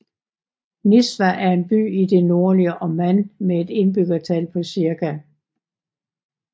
Nizwa er en by i det nordlige Oman med et indbyggertal på cirka